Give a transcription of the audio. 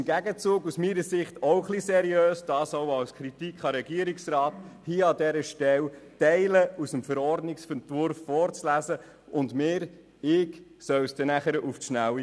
Im Gegenzug ist es aus meiner Sicht auch wenig seriös, hier an dieser Stelle Teile aus dem Verordnungsentwurf vorzulesen und zu erwarten, dass wir oder ich dies dann auf die Schnelle kapieren.